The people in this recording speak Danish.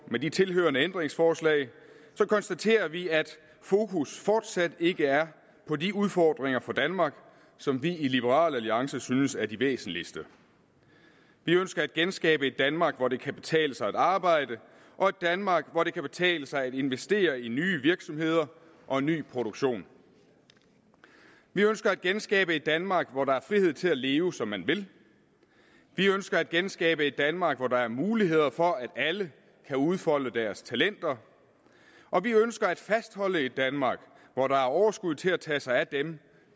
med de tilhørende ændringsforslag konstaterer vi at fokus fortsat ikke er på de udfordringer for danmark som vi i liberal alliance synes er de væsentligste vi ønsker at genskabe et danmark hvor det kan betale sig at arbejde og et danmark hvor det kan betale sig at investere i nye virksomheder og ny produktion vi ønsker at genskabe et danmark hvor der er frihed til at leve som man vil vi ønsker at genskabe et danmark hvor der er mulighed for at alle kan udfolde deres talenter og vi ønsker at fastholde et danmark hvor der er overskud til at tage sig af dem